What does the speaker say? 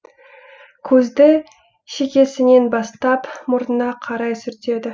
көзді шекесінен бастап мұрнына қарай сүртеді